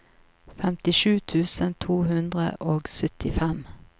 femtisju tusen to hundre og syttifem